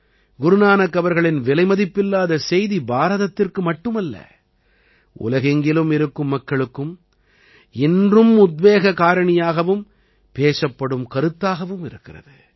குரு நானக் அவர்களின் விலைமதிப்பில்லாத செய்தி பாரதத்திற்கு மட்டுமல்ல உலகெங்கிலும் இருக்கும் மக்களுக்கும் இன்றும் உத்வேக காரணியாகவும் பேசப்படும் கருத்தாகவும் இருக்கிறது